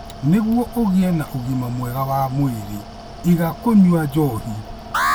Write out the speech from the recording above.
Nĩguo ũgĩe na ũgima mwega wa mwĩrĩ, iga kũnyua njohi.